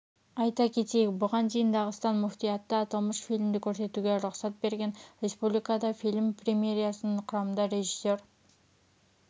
айта кетейік бұған дейін дағыстан мүфтияты аталмыш фильмді көрсетуге рұқсат берген республикада фильм премьерасын құрамында режиссер